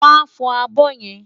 Wàá fọ abọ́ yẹn!